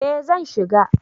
eh zan shiga